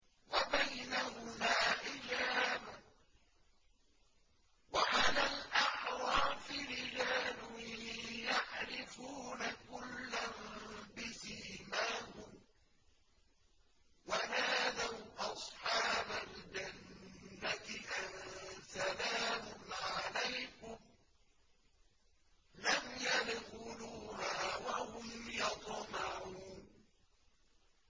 وَبَيْنَهُمَا حِجَابٌ ۚ وَعَلَى الْأَعْرَافِ رِجَالٌ يَعْرِفُونَ كُلًّا بِسِيمَاهُمْ ۚ وَنَادَوْا أَصْحَابَ الْجَنَّةِ أَن سَلَامٌ عَلَيْكُمْ ۚ لَمْ يَدْخُلُوهَا وَهُمْ يَطْمَعُونَ